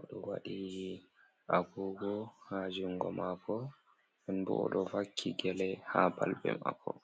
oɗo waɗi agogo ha jungo mako, nden bo oɗo vakki gele haa balbe mako.